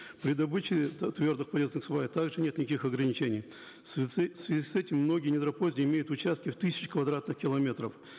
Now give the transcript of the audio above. при добыче твердых полезных ископаемых также нет никаких органичений в связи с этим многие имеют участки в тысячи квадратных километров